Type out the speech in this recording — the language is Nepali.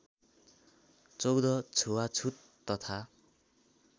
१४ छुवाछुत तथा